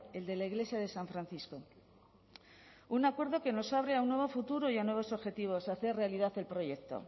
el de la iglesia de san francisco un acuerdo que nos abre a un nuevo futuro y a nuevos objetivos de hacer realidad el proyecto